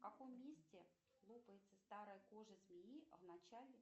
в каком месте лопается старая кожа змеи в начале